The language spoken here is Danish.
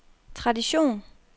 tradition